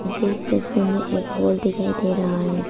मुझे इस तस्वीर में एक हॉल दिखाई दे रहा है।